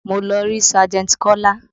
Mo lọ rí sájẹ̀ntì Kola